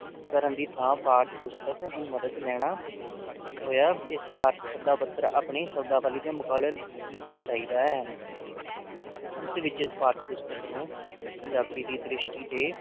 ਕਰਨ ਦੀ ਥਾਂ ਪਾਠ ਪੁਸਤਕ ਦੀ ਮਦਦ ਲੈਣਾ ਹੋਇਆ ਇਸਤਿਹਾਰ ਦੇ ਸਧਾ ਪੱਧਰ ਆਪਣੀ ਸ਼ਬਦਾਂ ਵਾਲੀ ਦੇ ਮੁਕਾਬਲੇ ਰੱਖਣਾ ਚਾਹੀਦਾ ਹੈ ਅੰਤ ਵਿਚ ਇਸ ਪਾਠ ਪੁਸਤਕ ਨੂੰ ਪੰਜਾਬੀ ਦੀ ਦ੍ਰਿਸਟਿ ਤੇ